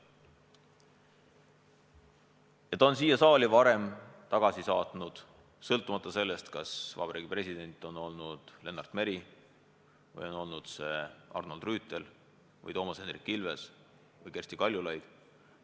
Vabariigi President on siia saali varem ka seaduseid tagasi saatnud, sõltumata sellest, kas president on olnud Lennart Meri, Arnold Rüütel, Toomas Hendrik Ilves või Kersti Kaljulaid.